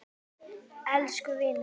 Elsku vinur!